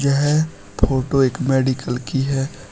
यह फोटो एक मेडिकल की है।